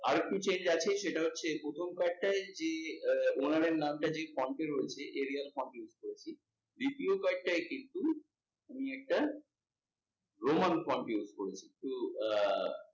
আরেকটু change আছে সেটা হচ্ছে, প্রথম কয়েকটায় যে আহ owner এর নামটা যে হচ্ছে দ্বিতীয় কয়েকটায় roman font use করেছি কিন্তু, আহ